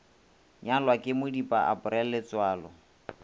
nyalwa ke modipa april letsoalo